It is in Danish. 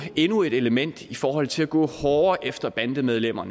endnu et element i forhold til at gå hårdere efter bandemedlemmer